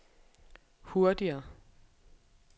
hurtigere